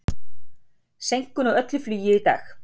Seinkun á öllu flugi í dag